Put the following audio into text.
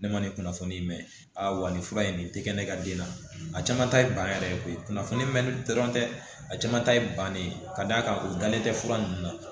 Ne ma ni kunnafoni mɛn a wa nin fura in nin tɛ kɛ ne ka den na a caman ta ye ban yɛrɛ ye koyi kunnafoni mɛnli dɔrɔn tɛ a caman ta ye bannen ka d'a kan u dalen tɛ fura ninnu na